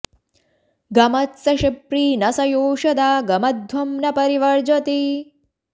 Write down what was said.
गम॒त्स शि॒प्री न स यो॑ष॒दा ग॑म॒द्धवं॒ न परि॑ वर्जति